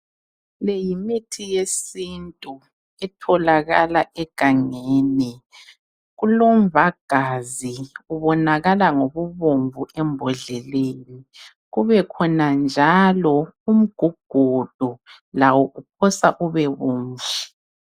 Le yimithi yesintu etholakala egangeni. Kulomvagaza obonakala ngobu bomvu embodleleni. Kubekhona njalo umgugudu lawo uphosa ube bomvu.